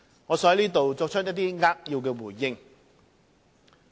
我想在此作扼要回應。